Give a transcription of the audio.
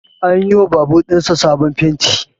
An yi wa babur ɗin sa sabon fenti